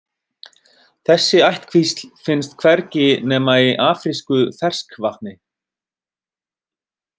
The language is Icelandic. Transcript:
Þessi ættkvísl finnst hvergi nema í afrísku ferskvatni.